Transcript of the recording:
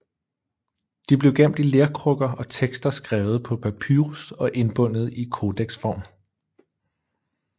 De blev gemt i lerkrukker og tekster skrevet på papyrus og indbundet i kodeksform